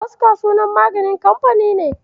Boska sunan kamfanin magani ne.